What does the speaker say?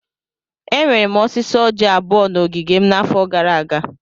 Enwere m osisi orji abụọ na ogige m n'afọ gara aga.